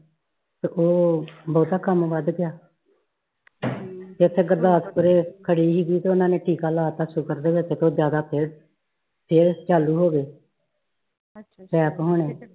ਫੇਰ ਬਹੁਤਾ ਕਮ ਵੱਧ ਗਯਾ ਫੇਰ ਏਥੇ ਗੁਰਦਾਸਪੂਰੇ ਖੜੀ ਸੀ ਤੇ ਓਨਾ ਨੇ ਟੀਕਾ ਲਾਤਾ sugar ਤੇ ਫੇਰ ਜ਼ਿਆਦਾ ਫੇਰ ਚਾਲੂ ਹੋ ਗਏ attack ਹੋਣੇ